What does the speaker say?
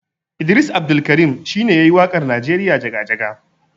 Idris Abdulkarin shine yayi waƙar Nigeria Jaga-jaga.